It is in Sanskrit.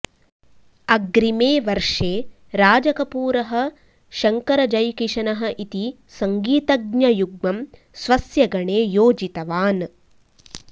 अग्रिमे वर्षे राजकपूरः शङ्करः जैकिशनः इति सङ्गीतज्ञयुग्मं स्वस्य गणे योजितवान्